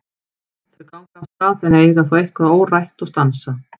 Þau ganga af stað en eiga þó eitthvað órætt og stansa.